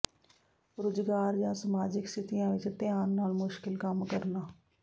ਰੁਜ਼ਗਾਰ ਜਾਂ ਸਮਾਜਿਕ ਸਥਿਤੀਆਂ ਵਿੱਚ ਧਿਆਨ ਨਾਲ ਮੁਸ਼ਕਿਲ ਕੰਮ ਕਰਨਾ